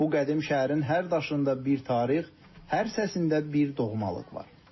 Bu qədim şəhərin hər daşında bir tarix, hər səsində bir doğmalıq var.